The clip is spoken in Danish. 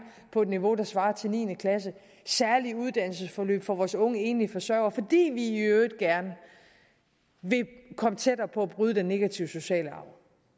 på et niveau der svarer til niende klasse og særlige uddannelsesforløb for vores unge enlige forsørgere fordi vi i øvrigt gerne vil komme tættere på at bryde den negative sociale arv